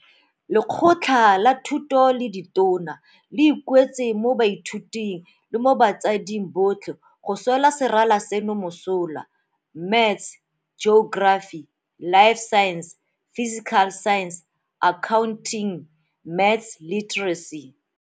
Lekgotla la Thuto la Ditona le ikuetse mo baithuting le mo batsading botlhe go swela serala seno mosola. Maths Geography Life Sciences Physical Sciences Accounting Maths Literacy.